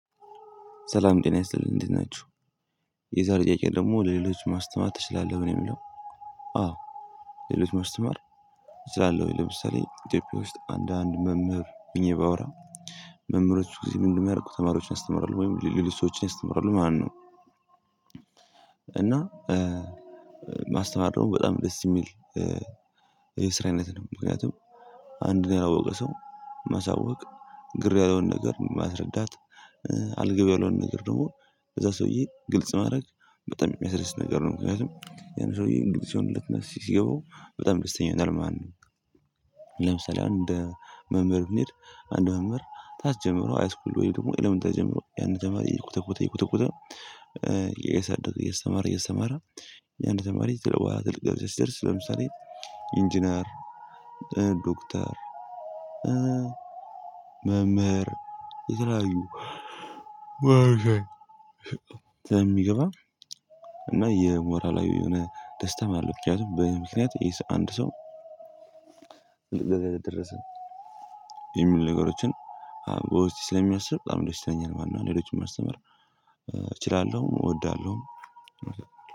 ሰላም ጤና ይስጥልኝ እንዴት ናችሁ። የዛሬ ጥያቄ ደግሞ ለሌሎች ማስተማር ትችላለህ ወይ ነው የሚለው? አዎ ሌሎች ማስተማር እችላለሁኝ። ለምሳሌ ኢትዮጵያ ውስጥ አንዳንድ መምህር ሁኜ ባወራ። መምህሮች ብዙ ጊዜ ምንድን ነው የሚያደርጉት? ተማሪዎችን ያስተምራሉ ወይም ሌሎች ሰዎችን ያስተምራሉ ማለት ነው። እና ማስተማር ደሞ በጣም ደስ የሚል። የስራ አይነት ነው። ምክንያቱም አንድን ያላወቀ ሰው ማሳወቅ ግር ያለውን ነገር ማስረዳት አልገባ ያለውን ነገር ደግሞ እዛ ሰውዬ ግልጽ ማድረግ በጣም የሚያስደስት ነገር ነው። ምክንያቱም ያን ሰውዬ ግልጽ ሲሆንለት እና ሲገባው በጣም ደስተኛ ይሆናል። ማነው? ለምሳሌ አንድ መምህር ብንሄድ አንድ መምህር ታች ጀምሮ ሃይስኩል ወይ ደግሞ ኢለመንተሪ ጀምሮ ያንን ተማሪ እየኮተኮተ እየኮተኮተ እያሳደገ እያስተማረ እያስተማረ። የአንድ ተማሪ ከዛ በዋላ ትልቅ ደረጃ ሲደርስ ለምሳሌ ኢንጂነር ዶክተር መምህር የተለያዩ ሞያዎች ላይ ስለሚገባ እና የሞራላዊ የሆነ ደስታም አለው። ምክንያቱም በእኔ ምክንያት ይሄ አንድ ሰው ትልቅ ድረጃ ላይ ደረሰ የሚሉ ነገሮችን በውስጤ ስለሚያስብ በጣም ደስ ይለኛል ማለት ነው። ሌሎችን ማስተማር እችላለሁ እወዳለሁ።